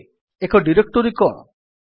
ଏବେ ଏକ ଡିରେକ୍ଟୋରୀ କଣ